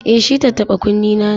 E, shi tattaɓa-kunnena ne.